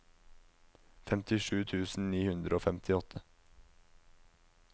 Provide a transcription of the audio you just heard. femtisju tusen ni hundre og femtiåtte